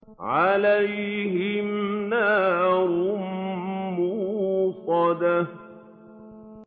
عَلَيْهِمْ نَارٌ مُّؤْصَدَةٌ